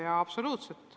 Jaa, absoluutselt.